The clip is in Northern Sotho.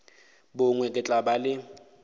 bongwe ke tla ba le